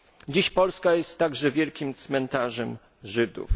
Dziś Polska jest także wielkim cmentarzem Żydów.